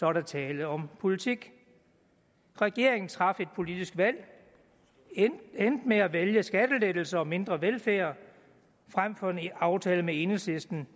er der tale om politik regeringen traf et politisk valg endte med at vælge skattelettelser og mindre velfærd frem for en aftale med enhedslisten